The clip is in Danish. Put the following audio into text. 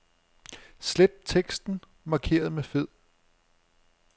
Slet teksten markeret med fed.